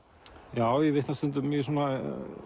já ég vitna stundum í svona